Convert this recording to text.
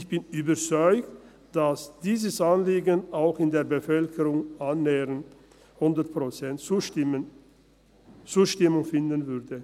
Ich bin überzeugt, dass dieses Anliegen auch in der Bevölkerung annähernd 100 Prozent Zustimmung finden würde.